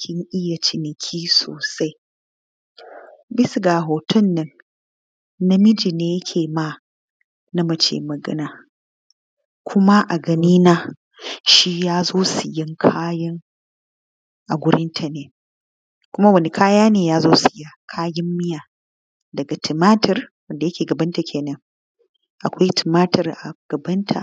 kin iya ciniki sosai. Bisa ga hoton nan namiji ne yake ma mace magana, kuma a gani na shi ya zo sayaan kaya a wurin ya ne kuma kaya ne na miya daga tumatur da yake gabanta. Akwai tumatur a gabanta